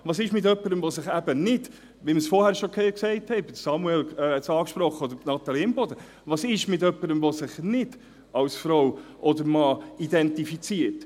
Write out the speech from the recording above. » Was ist mit jemandem – wir haben es vorhin gesagt, Samuel Kullmann oder Natalie Imboden haben es angesprochen –, der sich eben als Frau oder als Mann identifiziert?